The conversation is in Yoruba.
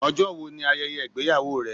Ọjọ́ wo ni ayẹyẹ ìgbéyàwó rẹ?